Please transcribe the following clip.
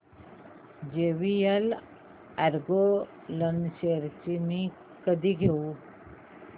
JVL Agro Ind shares मी कधी घेऊ